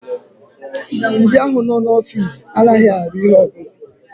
Ndị ahụ no n'ofiisi anaghị arụ ihe ọ bụla